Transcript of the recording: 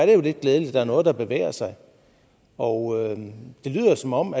jo lidt glædeligt at der er noget der bevæger sig og det lyder som om